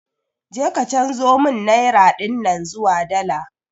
Je ka chanzo mun naira dinnan zuwa dala